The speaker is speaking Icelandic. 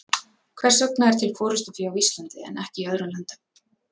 Hvers vegna er til forystufé á Íslandi en ekki í öðrum löndum?